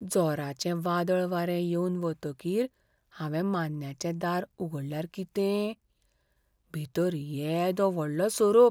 जोराचें वादळ वारें येवन वतकीर हांवें मान्न्याचें दार उगडल्यार कितें? भितर येदो व्हडलो सोरोप!